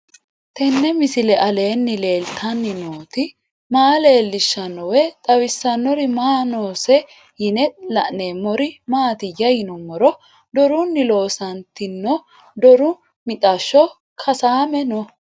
Tenni misile aleenni leelittanni nootti maa leelishshanno woy xawisannori may noosse yinne la'neemmori maattiya yinummoro dorunni loonsoonnitti doru mixashsho kasaamme noo